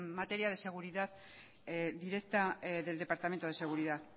materia de seguridad directa del departamento de seguridad